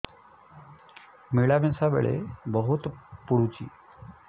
ମିଳାମିଶା ବେଳେ ବହୁତ ପୁଡୁଚି